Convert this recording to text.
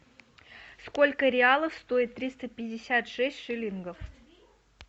сколько реалов стоит триста пятьдесят шесть шиллингов